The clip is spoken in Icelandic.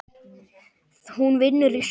Hún vinnur í sjoppu